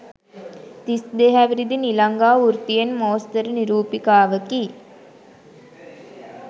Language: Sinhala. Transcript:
තිස් දෙහැවිරිදි නිලංගා වෘත්තියෙන් මෝස්තර නිරූපිකාවකි.